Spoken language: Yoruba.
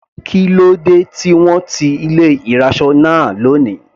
Kílódé tí wọ́n ti ilé ìraṣọ náà lóni.